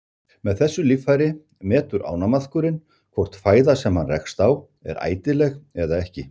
Með þessu líffæri metur ánamaðkurinn hvort fæða sem hann rekst á er ætileg eða ekki.